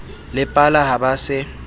le pala ha ba se